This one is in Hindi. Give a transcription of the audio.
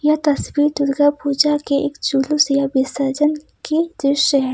यह तस्वीर दुर्गा पूजा के एक जुलूस या विसर्जन की दृश्य है।